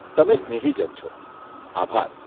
તમે સ્નેહી જન છો, આભાર.